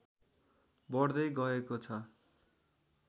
बढ्दै गएको छ